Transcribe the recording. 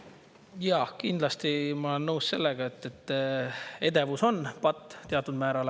Jah, kindlasti ma olen nõus sellega, et edevus on patt teatud määral.